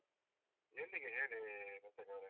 ಎಲ್ಲಿಗೆ ಹೇಳಿ ಮುಸ್ತಾಕ್ ಅವರೇ?